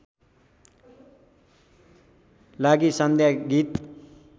लागी सन्ध्या गीत